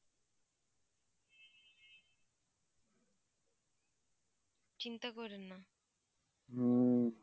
চিন্তা কইরেন না